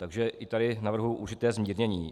Takže i tady navrhuji určité zmírnění.